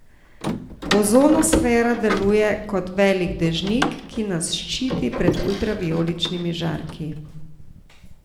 Ozonosfera deluje kot velik dežnik, ki nas ščiti pred ultravijoličnimi žarki.